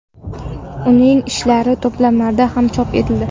Uning ishlari to‘plamlarda ham chop etildi.